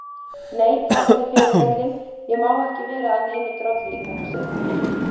Nei, þakka þér fyrir heillin, ég má ekki vera að neinu drolli í þetta sinn.